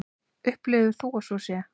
Upplifir þú að svo sé?